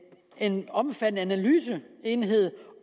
en omfattende analyseenhed